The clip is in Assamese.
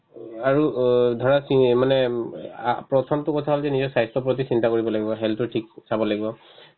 উম, আৰু অ ধৰা কি মানে উম আ প্ৰথমতো কথা হ'ল যে নিজৰ স্বাস্থ্যৰ প্ৰতি চিন্তা কৰিব লাগিব health তো ঠিক চাব লাগিব